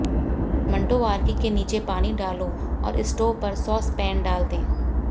मंटोवार्की के नीचे पानी डालो और स्टोव पर सॉस पैन डाल दें